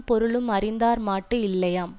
பொருளும் அறிந்தார் மாட்டு இல்லையாம்